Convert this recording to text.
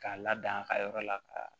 K'a lada a ka yɔrɔ la ka